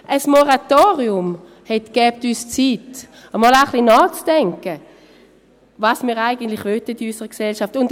Ein Moratorium gäbe uns Zeit, einmal ein bisschen nachzudenken, was wir in unserer Gesellschaft eigentlich wollen.